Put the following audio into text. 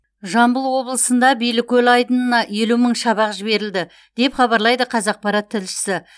жамбыл облысында билікөл айдынына елу мың шабақ жіберілді деп хабарлайды қазақпарат тілшісі